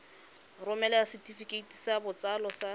romela setefikeiti sa botsalo sa